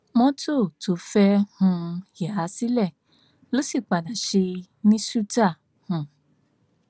mọtò tó fẹẹ um yà sílẹ ló sì padà ṣe é ní ṣùtá um